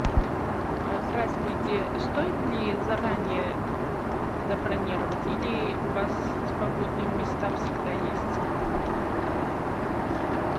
здравствуйте стоит ли заранее забронировать или у вас свободные места всегда есть